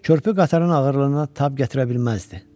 Körpü qatarın ağırlığına tab gətirə bilməzdi.